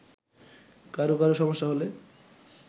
কারো কারো সমস্যা হলে